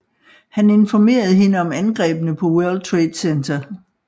Han informerede hende om angrebene på World Trade Center